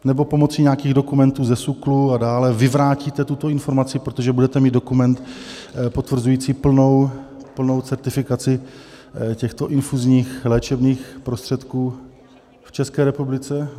Nebo pomocí nějakých dokumentů ze SÚKLu a dále vyvrátíte tuto informaci, protože budete mít dokument potvrzující plnou certifikaci těchto infuzních léčebných prostředků v České republice?